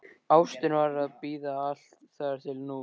Ástin varð að bíða, allt þar til nú.